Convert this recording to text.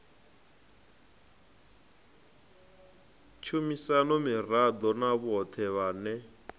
tshumisano miraḓo na vhoṱhe vhane